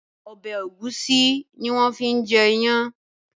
Ọbẹ̀ ẹ̀gúsí ni wón fi ń jẹ ìyàn